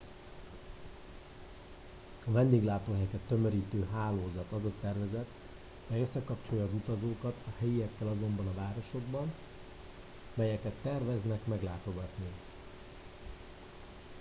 a vendéglátóhelyeket tömörítő hálózat az a szervezet mely összekapcsolja az utazókat a helyiekkel azokban a városokban melyeket terveznek meglátogatni